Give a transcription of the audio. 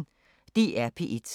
DR P1